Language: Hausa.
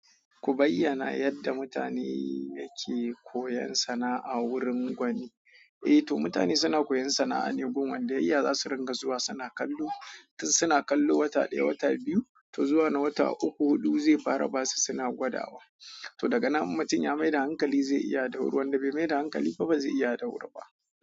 Ku bayyana yadda mutane yake kuyan sana'a wurin wani. Eh to mutane suna koyon sana'a ne gun wanda ya iya za su ringa zuwa suna kallo. Tun suna kallo wata daya, wata biyu to zuwa na wata uku, hudu zai fara basu suna gwadawa to daga nan ummtum ya maida hankali zai iya dawuri, wanda bai maida hankali ba bazai iya dawuri ba.